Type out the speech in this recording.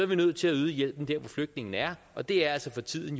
vi nødt til at yde hjælpen der hvor flygtningene er og det er altså for tiden